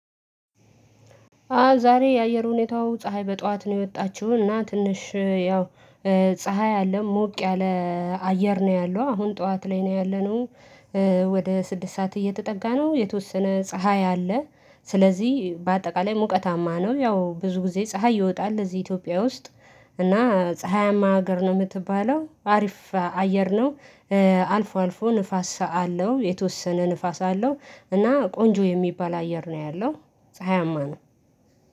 አዎ ዛሬ የአየር ሁኔታው ፀሀይ በጧት ነው የወጣችው እና ትንሽ ያው ፀሀይ አለ ሞቅ ያለ አየር ነው ያለው አሁን ጠዋት ላይ ነው ያለነው። ወደ ስድስት ሰዓት እየተጠጋ ነው የተወሰነ ፀሀይ አለ። ስለዚህ በአጠቃላይ ሙቀታማ ነው ያው ብዙ ጊዜ ፀሀይ ይወጣል ለዚህ ኢትዮጵያ ውስጥ እና ፀሀያማ ሀገር ነው የምትባለው አሪፍ አየር ነው። አልፎ አልፎ ንፋስ አለው የተወሰነ ንፋስ አለው እና ቆንጆ የሚባል አየር ነው ያለው። ፀሀያማ ነው።